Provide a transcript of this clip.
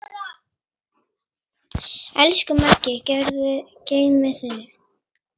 Elsku Maggi, guð geymi þig.